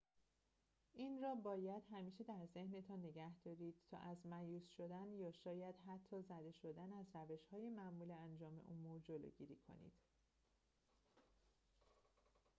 این را باید همیشه در ذهنتان نگه دارید تا از مأیوس شدن یا شاید حتی زده شدن از روش‌های معمول انجام امور جلوگیری کنید